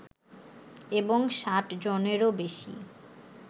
এবং ষাট জনেরও বেশি